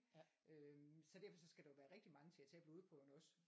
Øhm så derfor så skal der jo være rigtig mange til at tage blodprøverne også